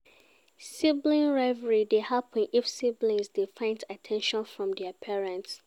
Sibling rivalry dey happen if siblings dey find at ten tion from their parents